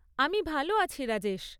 আমি ভালো আছি, রাজেশ।